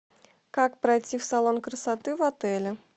как пройти в салон красоты в отеле